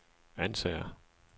Ansager